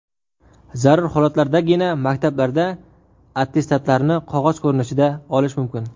Zarur holatlardagina maktablarda attestatlarni qog‘oz ko‘rinishida olish mumkin.